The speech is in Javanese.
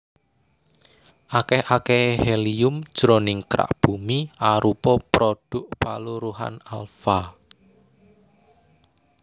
Akèh akèhé helium jroning kerak Bumi arupa prodhuk paluruhan alfa